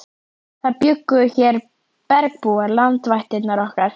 Það bjuggu hér bergbúar, landvættirnar okkar.